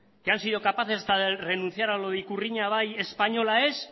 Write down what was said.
que han sido capaces de hasta reiniciar a lo de ikurriña bai española ez